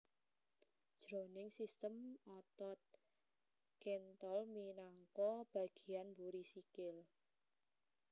Jroning sistem otot kéntol minangka bagéyan mburi sikil